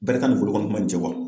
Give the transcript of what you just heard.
Bɛrɛ t'a ni bolokɔni kunba in cɛ